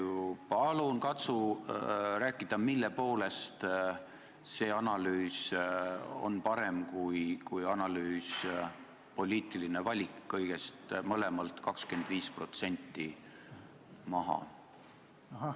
Palun katsu rääkida, mille poolest see analüüs on parem kui poliitiline valik kõigelt 25% maha võtta!